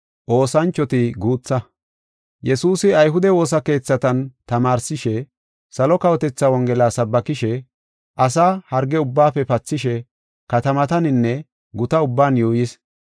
Yesuusi ayhude woosa keethatan tamaarsishe, salo kawotethaa Wongela sabbakishe, asaa harge ubbaafe pathishe katamataninne guta ubban yuuyis.